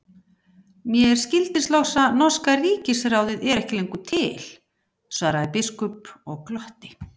Mér skildist loks að norska ríkisráðið er ekki lengur til, svaraði biskup og glotti.